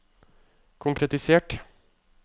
konkretisert